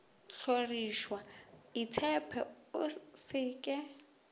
hlorišwa itshepe o se ke